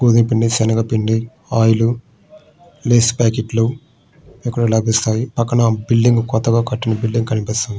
గోధుమపిండి శనగపిండి oil Lays packet లు ఇక్కడ లభిస్తాయి. పక్కన ఒక బిల్డింగు కొత్తగా ఉన్నట్టు కనిపిస్తుంది.